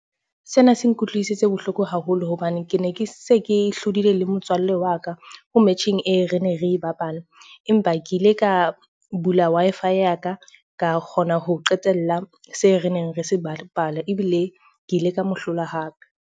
Sena se nkutlwisitse bohloko haholo hobane ke ne ke se ke hlodile le motswallle wa ka ho metjheng e re ne re bapala. Empa ke ile ka bula Wi-Fi ya ka, ka kgona ho qetella se reneng re se bapala, ebile ke ile ka mo hlola hape.